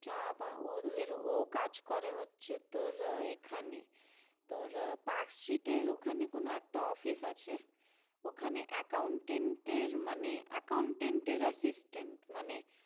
চা পা ও তোদের ও কাজ করে হচ্ছে তোর এখানে তোর পার্কস্ট্রিটের ওখানে কোনো একটা office আছে ওখানে accountant এর মানে accountant এর assistant মানে